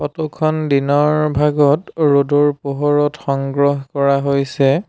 খন দিনৰ ভাগত ৰ'দৰ পোহৰত সংগ্ৰহ কৰা হৈছে।